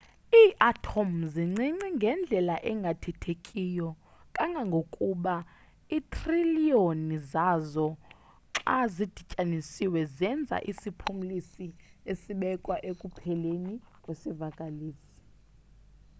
iiatom zincinci ngendlela engathethekiyo kangangokuba iithriliyoni zazo xa zidityanisiwe zenza isiphumlisi esibekwa ekupheleni kwesivakalisi